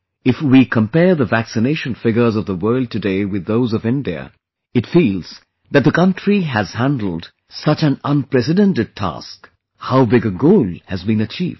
If we compare the vaccination figures of the world today with those of India, it feels that the country has handled such an unprecedented task... how big a goal has been achieved